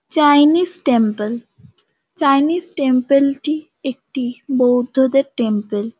Chinese temple Chinese temple -টি একটি বৌদ্ধদের টেম্পেল ।